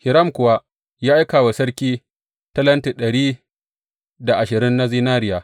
Hiram kuwa ya aika wa sarki talenti dari da ashirin na zinariya.